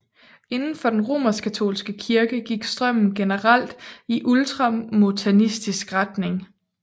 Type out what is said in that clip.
Inden for den romerskkatolske kirke gik strømmen generelt i ultramontanistisk retning